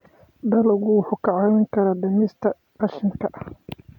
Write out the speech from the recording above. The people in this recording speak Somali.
Dalaggu wuxuu kaa caawin karaa dhimista qashinka.